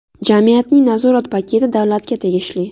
Jamiyatning nazorat paketi davlatga tegishli.